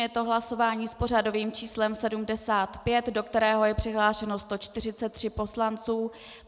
Je to hlasování s pořadovým číslem 75, do kterého je přihlášeno 143 poslanců.